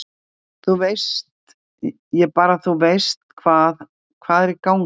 Þú veist, ég bara þú veist hvað, hvað er í gangi?